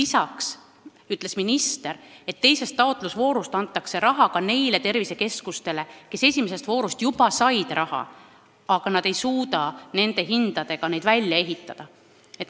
Samas ütles minister, et teises taotlusvoorus antakse raha ka nendele tervisekeskustele, mis esimeses voorus juba said raha, aga nad ei suuda praeguste hindadega neid välja ehitada.